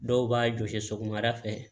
Dɔw b'a jɔsi sɔgɔmada fɛ